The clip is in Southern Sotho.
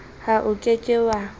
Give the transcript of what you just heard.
ha o ke ke wa